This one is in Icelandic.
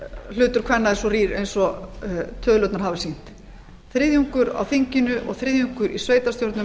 hlutur kvenna er svo rýr eins og tölurnar hafa sýnt þriðjungur á þinginu og þriðjungur í sveitarstjórnum